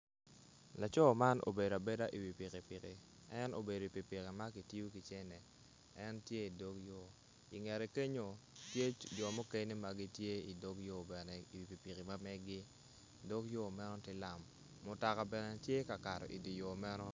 Laco man obedo abeda iwi pikipiki en obedo iwi pikipiki ma kitiyo ki cente en tye idog yo ingete kenyo tye jo mukene magitye idog yo bene iwi pikipiki mameggi dog yo meno tye lam mutoka bene tye ka kato idye yo meno